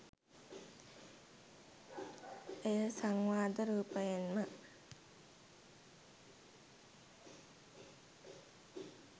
එය සංවාද රූපයෙන්ම